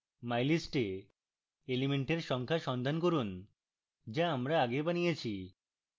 mylist we elements সংখ্যা সন্ধান করুন যা আমরা আগে বানিয়েছি